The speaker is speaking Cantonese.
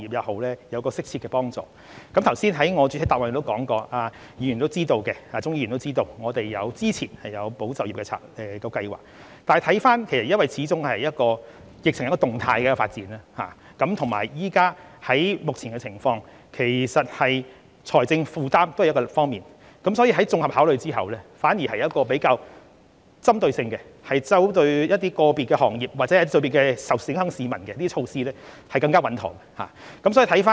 我剛才在主體答覆中亦有提及，鍾議員亦知道，我們之前曾推出"保就業"計劃，但疫情始終是一個動態的發展，而且在目前情況下，財政負擔也是一個要考慮的方面，所以經綜合考慮之後，我們推出比較針對性的措施，我們認為針對個別行業或個別受影響市民採取措施會更為穩妥。